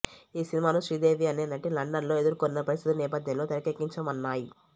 ఈ సినిమాను శ్రీదేవి అనే నటి లండన్లో ఎదుర్కొన్న పరిస్థితుల నేపథ్యంలో తెరకెక్కించమన్నాము